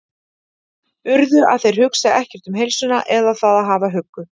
urðu að þeir hugsi ekkert um heilsuna eða það að hafa huggu